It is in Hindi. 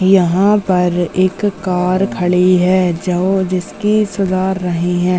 यहाँ पर एक कार खड़ी है जिसकी सुधार रही है।